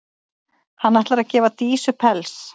Hann ætlar að gefa Dísu pels.